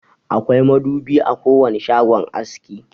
Akwai madubi a kowane shagon aski.